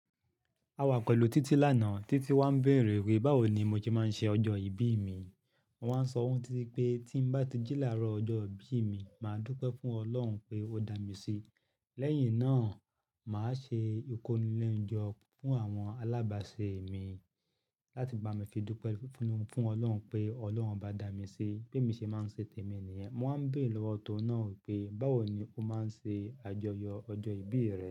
A wà pẹ̀lú Títí lánàá, Títí wà ń béèrè wípé báwo ni mo ti máa ń ṣe ọjọ́ ìbí mi. Mo wá ń sọ fun Títí pé tí mo bá ti jí láàárọ̀ ọjọ́ ìbí mi, mà á dúpẹ́ fún Ọlọ́run pé ó dá mi sí. Lẹ́yìn náà, mà á ṣe ìkónilẹ́ńjọ fún àwọn alábàṣe mi láti bá mi fi dúpẹ́ fún Ọlọ́run pé Ọlọ́run bá dá mi sí, pé mi ṣe máa ń ṣe tèmi nìyẹn. Mo wá ń béèrè lọ́wọ́ oun náà wípé báwo ni ó máa ń ṣe àjọyọ̀ ọjọ́ ìbí rẹ̀